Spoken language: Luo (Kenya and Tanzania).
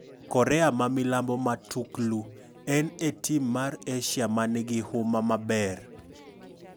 Korea ma milambo matuklu: En e tim mar Asia manigi huma maber.